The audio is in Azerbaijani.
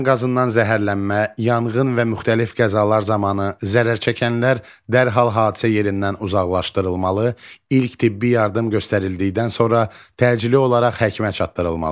Dəm qazından zəhərlənmə, yanğın və müxtəlif qəzalar zamanı zərərçəkənlər dərhal hadisə yerindən uzaqlaşdırılmalı, ilk tibbi yardım göstərildikdən sonra təcili olaraq həkimə çatdırılmalıdır.